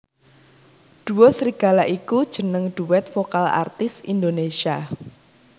Duo Serigala iku jeneng duet vokal artis Indonesia